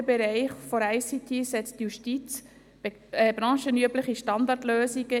Wer den Kredit annimmt, stimmt Ja, wer diesen ablehnt, stimmt Nein.